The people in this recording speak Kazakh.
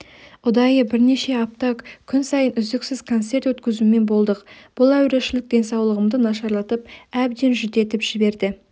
ұдайы бірнеше апта күн сайын үздіксіз концерт өткізумен болдық бұл әурешілік денсаулығымды нашарлатып әбден жүдетіп жіберді